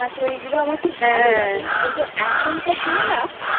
ওগুলো আমার ঠিক ভালো লাগে না হ্যাঁ কিন্তু এখনকার দিনে না আমার